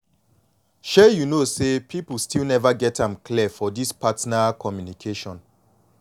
shay you know say people still never get am clear for this partner communication